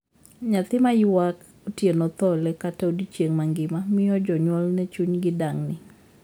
Nyathi mayuak otieno thole kata odiechieng' mangima miyo jonyuolne chunygi dang'ni.